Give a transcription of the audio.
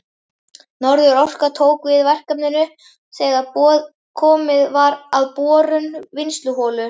Norðurorka tók við verkefninu þegar komið var að borun vinnsluholu.